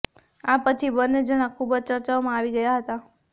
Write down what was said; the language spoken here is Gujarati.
આ પછી બંને જણા ખૂબ જ ચર્ચાઓમાં આવી ગયા હતા